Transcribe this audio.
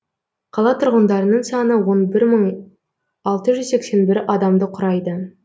қала тұрғындарының саны он бір мың алты жүз сексен бір адамды құрайды